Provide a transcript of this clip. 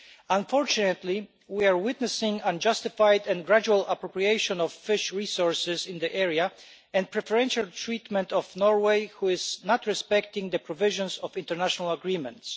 Unfortunately, we are witnessing unjustified and gradual appropriation of fish resources in the area and preferential treatment of Norway, which is not respecting the provisions of international agreements.